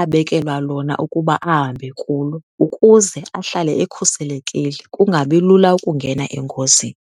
abekelwa lona ukuba ahambe kulo ukuze ahlale ekhuselekile, kungabi lula ukungena engozini.